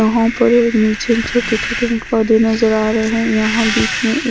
वहां पर एक नीचे छोटे छोटे से पौधे नजर आ रहे हैं यहां बीच में एक--